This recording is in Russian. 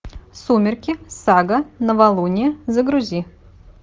сумерки сага новолуние загрузи